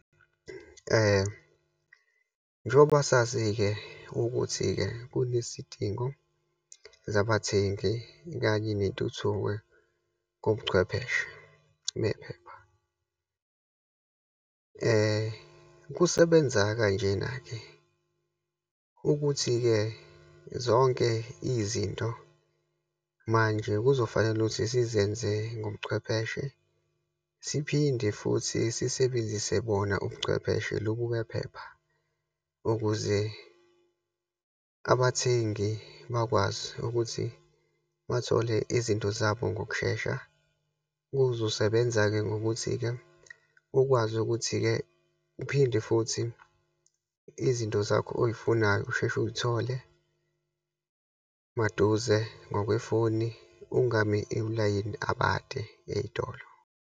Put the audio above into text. Njengoba sazi-ke ukuthi-ke kunesidingo zabathengi, kanye nentuthuko kobuchwepheshe nephepha. Kusebenza kanjena-ke ukuthi-ke zonke izinto manje kuzofanele ukuthi sizenze ngobuchwepheshe, siphinde futhi sisebenzise bona ubuchwepheshe lobubephepha ukuze abathengi bakwazi ukuthi bathole izinto zabo ngokushesha. Kuzosebenza-ke ngokuthi-ke ukwazi ukuthi-ke uphinde futhi izinto zakho oyifunayo, usheshe uyithole maduze ngokwefoni, ungami ulayini abade eyitolo.